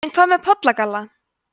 en hvað með pollagalla